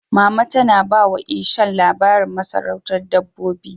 Mama tana ba wa Ishan labarin masarautar Dabbobi.